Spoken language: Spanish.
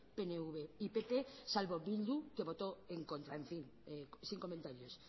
pnv y pp salvo bildu que votó en contra en fin sin comentarios